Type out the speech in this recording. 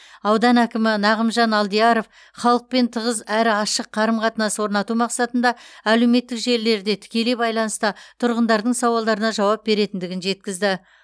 аудан әкімі нағымжан алдияров халықпен тығыз әрі ашық қарым қатынас орнату мақсатында әлеуметтік желілерде тікелей байланыста тұрғындардың сауалдарына жауап беретіндігін жеткізді